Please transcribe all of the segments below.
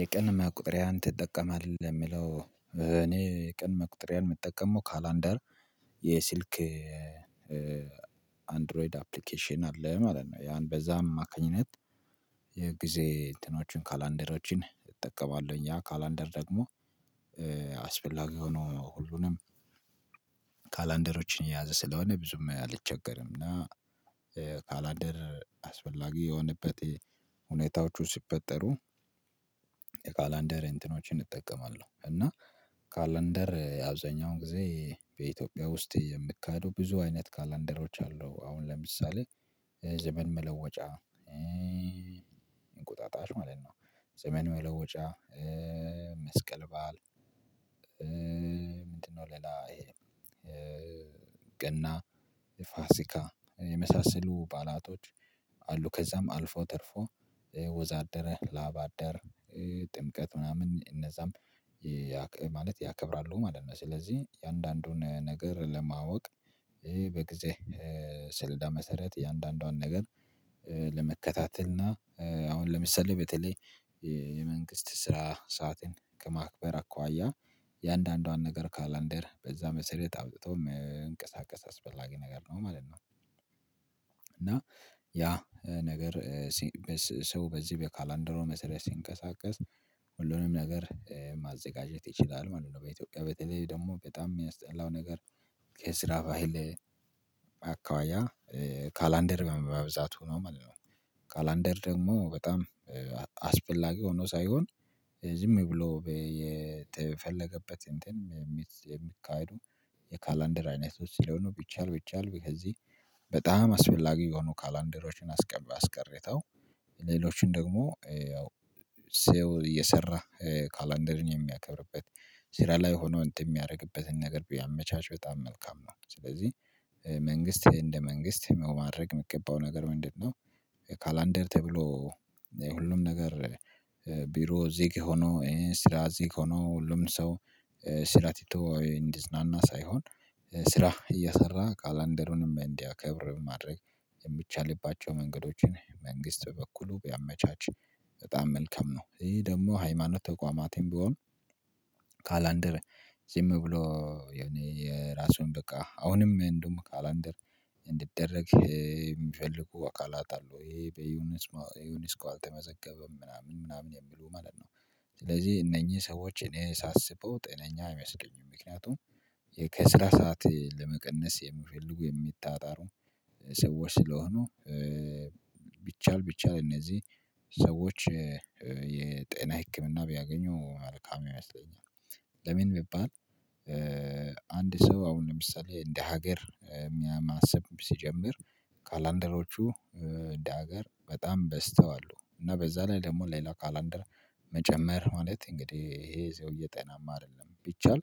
የቀን መቁጠሪያን ትጠቀማለህ የሚለው? እኔ የቀን መቁጠሪያን የምጠቀመው ካላንደር የስልክ አንድሮይድ አፕሊኬሽን አለ ማለት ነው። ያን በዛ አማካኝነት የጊዜ እንትኖችን ካላንደሮችን እጠቀማለሁኝ ያ ካላንደር ደግሞ አስፈላጊ ሆኖ ሁሉንም ካላንደሮችን የያዘ ስለሆነ ብዙም አልቸገርም። እና ካላንደር አስፈላጊ የሆነበት ሁኔታዎቹ ሲፈጠሩ የካላንደር እንትኖችን እጠቀማለሁ። እና ካላንደር አብዛኛውን ጊዜ በኢትዮጵያ ውስጥ የሚካሄደው ብዙ አይነት ካላንደሮች አሉ። አሁን ለምሳሌ ዘመን መለወጫ እንቁጣጣሽ ማለት ነው። ዘመን መለወጫ መስቀል በዓል ምንድነው? ሌላ ይሄ ገና ፋሲካ የመሳሰሉ ባዓላቶች አሉ። ከዛም አልፎ ተርፎ ወዛደር ላባደር ጥምቀት ምናምን እነዛም ማለት ያከብራሉ ማለት ነው። ስለዚህ የእያንዳንዱን ነገር ለማወቅ በጊዜ ስሌዳ መሰረት እያንዳንዷን ነገር ለመከታተል እና አሁን ለምሳሌ በተለይ የመንግስት ስራ ሰዓትን ከማክበር አኳያ እያንዳንዷን ነገር ካላንደር በዛ መሰረት አውጥቶ መንቀሳቀስ አስፈላጊ ነገር ነው ማለት ነው። እና ያ ነገር ሰው በዚህ በካላንደሩ መሰረት ሲንቀሳቀስ ሁሉንም ነገር ማዘጋጀት ይችላል ማለት ነው። በኢትዮጵያ በተለይ ደግሞ በጣም የሚያስጠላው ነገር ከስራ ባህል አኳያ ካላንደር በመብዛቱ ነው ማለት ነው። ካላንደር ደግሞ በጣም አስፈላጊ ሆኖ ሳይሆን ዝም ብሎ የተፈለገበት እንትን የሚካሄዱ የካላንደር አይነት ውስጥ ሲለሆኑ ነው። ቢቻል ቢቻል ከዚህ በጣም አስፈላጊ የሆኑ ካላንደሮችን አስቀባ አስቀርታው ሌሎችን ደግሞ ያው ሰው እየሰራ ካላንደርን የሚያከብርበት ስራ ላይ ሆኖ እንትን የሚያደርግበትን ነገር ቢያመቻች በጣም መልካም ነው። ስለዚህ መንግስት እንደ መንግስት ማድረግ የሚገባው ነገር ምንድነው? ካላንደር ተብሎ የሁሉም ነገር ቢሮ ዝግ ሆኖ ስራ ዝግ ሆኖ ሁሉም ሰው ስራ ትቶ እንዲዝናና ሳይሆን ስራ እየሰራ ካላንደሩንም እንዲያከብር ማድረግ የሚቻልባቸው መንገዶችን መንግስት በበኩሉ ቢያመቻች በጣም መልካም ነው። ይሄ ደግሞ ሃይማኖት ተቋማትም ቢሆን ካላንደር ዝም ብሎ የኔ የራሱን በቃ አሁንም እንደውም ካላንደር እንዲደረግ የሚፈልጉ አካላት አሉ ይሄ በዩኒስ ዩኒስኮ አልተመዘገበም ምናምን ምናምን የሚሉ ማለት ነው። ስለዚህ እነኚህ ሰዎች እኔ ሳስበው ጤነኛ አይመስሉኝም ምክንያቱም ከስራ ሰዓት ለመቀነስ የሚፈልጉ የሚጣጣሩ ሰዎች ስለሆኑ። ቢቻል ቢቻል እነዚህ ሰዎች የጤና ህክምና ቢያገኙ መልካም ይመስለኛል። ለምን ቢባል? አንድ ሰው አሁን ለምሳሌ እንደ ሀገር ማሰብ ሲጀምር ካላንደሮቹ እንደ ሀገር በጣም በዝተዋሉ እና በዛ ላይ ደግሞ ሌላ ካላንደር መጨመር ማለት እንግዲህ ይሄ ሰውዬ ጤናማ አይደለም። ቢቻል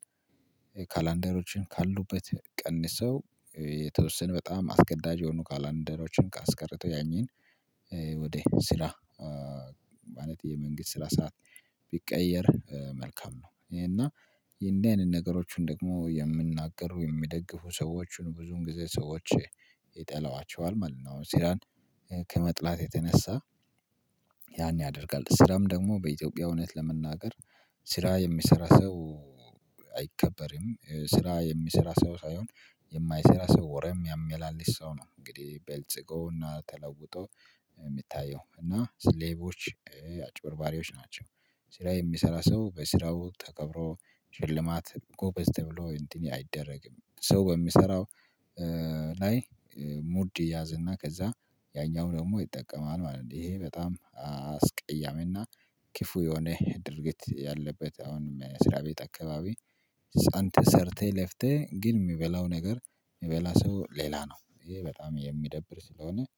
ካላንደሮችን ካሉበት ቀንሰው የተወሰነ በጣም አስገዳጅ የሆኑ ካላንደሮችን አስቀረተው ያንን ወደ ስራ ማለት የመንግስት ስራ ሰዓት ቢቀየር መልካም ነው። እና እንደዚህ አይነት ነገሮችን ደግሞ የሚናገር የሚደግፉ ሰዎችን ብዙውን ጊዜ ሰዎች ይጠሏቸዋል ማለት ነው። አሁን ስራን ከመጥላት የተነሳ ያን ያደርጋል ስራም ደግሞ በኢትዮጵያ እውነት ለመናገር ስራ የሚሰራ ሰው አይከበርም ስራ የሚሰራ ሰው ሳይሆን የማይሰራ ሰው ወሬ ሚያመላልስ ሰው ነው። እንግዲህ በልጽጎ እና ተለውጦ የሚታየው እና ሌቦች አጭበርባሪዎች ናቸው። ስራ የሚሰራ ሰው በስራው ተከብሮ ሽልማት ጎበዝ ተብሎ እንዲህ አይደረግም። ሰው በሚሰራው ላይ ሙድ ይያዝ እና ከዛ ያኛው ደግሞ ይጠቀማል ማለት ነው። ይሄ በጣም አስቀያሚ እና ክፉ የሆነ ድርጊት ያለበት አሁንም መስሪያ ቤት አካባቢ ጸንተ ሰርተህ ለፍተህ ግን የሚበላው ነገር የሚበላ ሰው ሌላ ነው ይሄ በጣም የሚደብር ስለሆነ